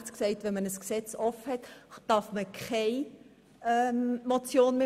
Gemäss Artikel 69 darf keine Motion mehr eingereicht werden, wenn ein Gesetz revidiert wird.